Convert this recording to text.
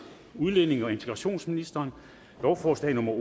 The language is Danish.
udlændinge og integrationsministeren lovforslag nummer